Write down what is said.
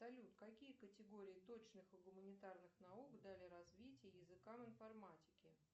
салют какие категории точных и гуманитарных наук дали развитие языкам информатики